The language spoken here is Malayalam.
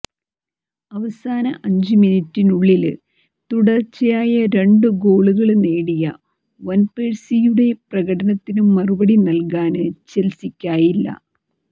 അവസാന അഞ്ചുമിനിറ്റിനുള്ളില് തുടര്ച്ചയായ രണ്ടു ഗോളുകള് നേടിയ വാന്പേഴ്സിയുടെ പ്രകടനത്തിനു മറുപടി നല്കാന് ചെല്സിക്കായില്ല